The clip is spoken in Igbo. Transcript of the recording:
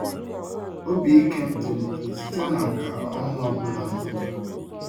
Obi ike m tolitere site na nka ọhụrụ ọ bụla m mụtara.